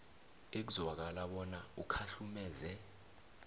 ekuzwakala bona ukhahlumeze